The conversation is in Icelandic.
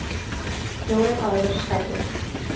Fjórir aðrir særðust